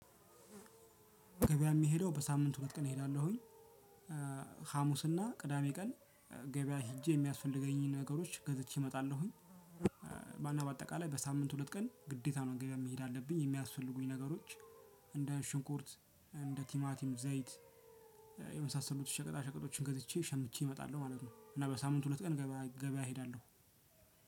ገበያ ምሄደው በሳምንት ሁለት ቀን እሄዳለሁኝ። ሀሙስና ቅዳሜ ቀን ገበያ ሄጄ የሚያስፈልገኝን ነገሮች ገዝቼ እመጣለሁኝ። በአና በአጠቃላይ በሳምንት ሁለት ቀን ግዴታ ነው ገበያ መሄድ አለብኝ የሚያስፈልጉኝ ነገሮች እንደ ሽንኩርት እንደ ቲማቲም ዘይት የመሳሰሉት ሸቀጣ ሸቀጦችን ገዝቼ ሸምቼ እመጣለሁ ማለት ነው። እና በሳምንት ሁለት ቀን ገበያ ገበያ እሄዳለሁ።